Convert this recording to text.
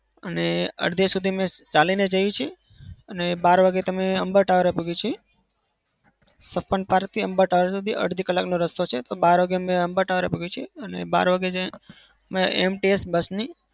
અને અડધે સુધી અમે ચાલીને જઈએ છીએ અને બાર વાગે તમે અમ્બા ટાવર છે. અડધી કલાકની રસ્તો છે તો બાર વાગે તો અમે અમ્બા ટાવર છીએ. અને બાર વાગે AMTS bus ની